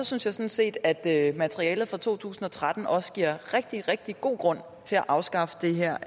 synes jeg sådan set at materialet fra to tusind og tretten også giver rigtig rigtig god grund til at afskaffe det her